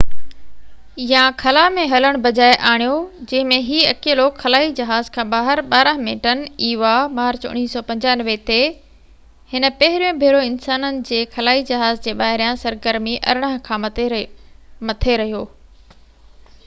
18 مارچ 1995 تي، هن پهريون ڀيرو انسانن جي خلائي جهاز جي ٻاهريان سرگرمي eva يا خلا ۾ هلڻ بجاءِ آڻيو، جنهن ۾ هي اڪيلو خلائي جهاز کان ٻاهر 12 منٽن کان مٿي رهيو